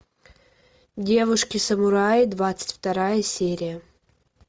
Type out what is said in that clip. девушки самураи двадцать вторая серия